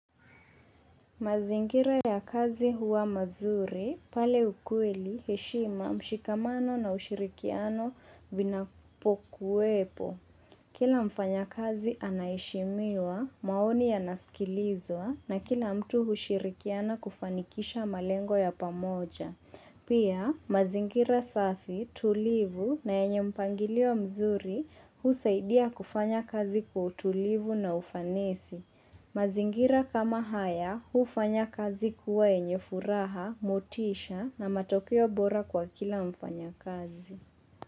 Mazingira ya kazi huwa mazuri, pale ukweli, heshima, mshikamano na ushirikiano vina pokuwepo. Kila mfanya kazi anaheshimiwa, maoni ya nasikilizwa na kila mtu hushirikiana kufanikisha malengo ya pamoja. Pia, mazingira safi tulivu na yenye mpangilio mzuri husaidia kufanya kazi kwa utulivu na ufanisi. Mazingira kama haya hufanya kazi kuwa yenye furaha, motisha na matokeo bora kwa kila mfanya kazi.